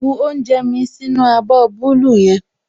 Bu oúnjẹ mí sínú abọ́ búúlù yẹn